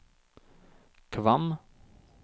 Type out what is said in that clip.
Kvam